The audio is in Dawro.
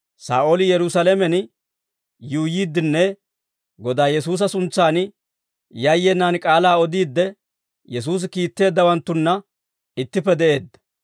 Saa'ooli Yerusaalamen yuuyyiiddenne Godaa Yesuusa suntsan yayyenaan k'aalaa odiidde, Yesuusi kiitteeddawanttunna ittippe de'eedda.